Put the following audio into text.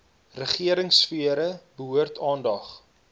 regeringsfere behoort aandag